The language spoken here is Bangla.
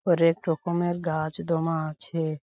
হরেকরকমের গাছ দোমা আছে ।